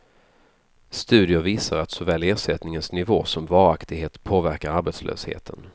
Studier visar att såväl ersättningens nivå som varaktighet påverkar arbetslösheten.